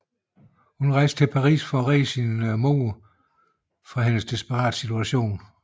Hun rejste til Paris for at redde sin mor fra hendes desperate situation